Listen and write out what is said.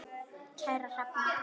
Kæra Hrefna